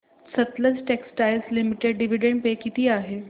Sutlej textiles limited dividend pay किती आहे